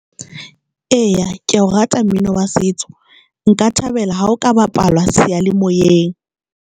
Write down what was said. Eya, ke ya o rata mmino wa setso nka thabela ha o ka bapalwa seyalemoyeng.